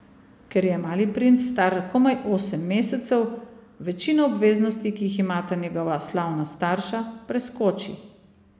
Ker je mali princ star komaj osem mesecev, večino obveznosti, ki jih imata njegova slavna starša, preskoči.